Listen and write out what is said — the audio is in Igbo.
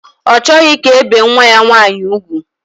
Ọ chọghị ka e bee nwa ya nwaanyị ugwu